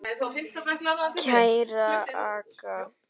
Kæra Agga.